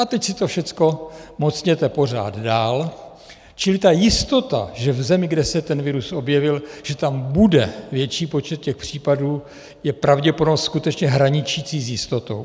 A teď si to všechno mocněte pořád dál, čili ta jistota, že v zemi, kde se ten virus objevil, že tam bude větší počet těch případů, je pravděpodobnost skutečně hraničící s jistotou.